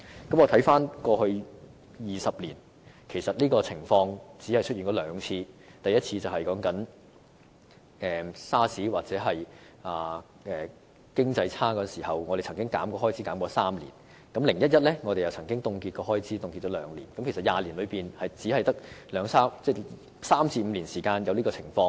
我看回過去20年，這情況只出現兩次，包括在 SARS 或經濟轉差時，我們曾削減開支3年 ，"0-1-1" 節約方案也凍結開支兩年，故20年來只曾在3年至5年間出現這種情況。